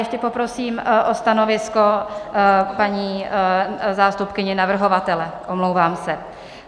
Ještě poprosím o stanovisko paní zástupkyni navrhovatele, omlouvám se.